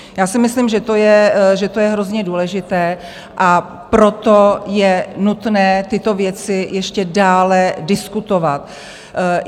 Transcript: Já si myslím, že to je hrozně důležité, a proto je nutné tyto věci ještě dále diskutovat.